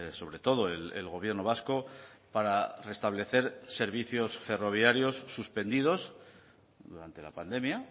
sobre todo el gobierno vasco para restablecer servicios ferroviarios suspendidos durante la pandemia